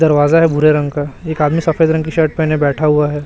दरवाजा है भूरे रंग का एक आदमी सफेद रंग की शर्ट पहने हुए बैठा है।